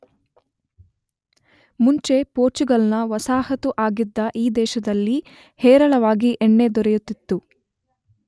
ಮುಂಚೆ ಪೋರ್ಚುಗಲ್ನ ವಸಾಹತು ಆಗಿದ್ದ ಈ ದೇಶದಲ್ಲಿ ಹೇರಳವಾಗಿ ಎಣ್ಣೆ ದೊರೆಯುತ್ತಿತ್ತು